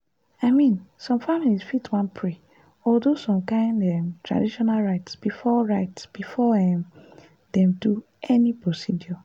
i mean some families fit wan pray or do some kind um traditional rites before rites before um dem do any procedure.